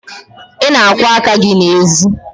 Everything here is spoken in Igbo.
Ị na-akwọ aka gị n'ezi?